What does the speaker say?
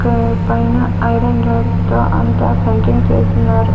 Iron rods తో అంతా centring చేసున్నారు.